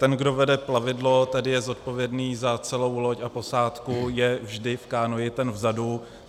Ten, kdo vede plavidlo, tedy je zodpovědný za celou loď a posádku, je vždy v kánoi ten vzadu.